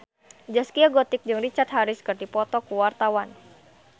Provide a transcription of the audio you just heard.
Zaskia Gotik jeung Richard Harris keur dipoto ku wartawan